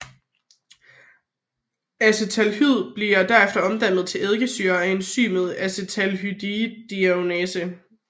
Acetaldehyd bliver derefter omdannet til eddikesyre af enzymet acetaldehyddehydrogenase